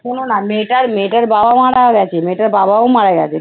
আরে শোনো না মেয়েটার মেয়েটার বাবা-মা মারা গেছে, মেয়েটার বাবাও মারা গেছে